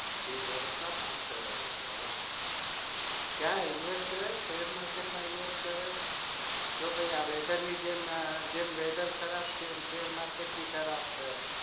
એક વરસ ના પાચ કરોડ રૂપિયા કયા invest કરો સેર market માં invest કરો કે પછી weather ની જેમ સેર market બી ખબર છે